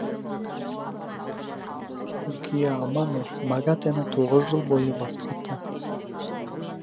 юкия амано магатэ ні тоғыз жыл бойы басқарды